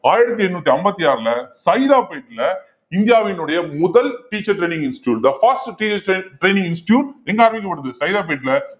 ஆயிரத்தி எண்ணூத்தி ஐம்பத்தி ஆறுல சைதாபேட்ல இந்தியாவினுடைய முதல் teacher training institute the first training institute எங்க ஆரம்பிக்கப்படுது சைதாப்பேட்ல